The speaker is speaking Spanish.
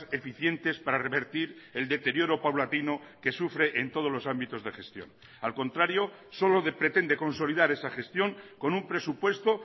eficientes para revertir el deterioro paulatino que sufre en todos los ámbitos de gestión al contrario solo pretende consolidar esa gestión con un presupuesto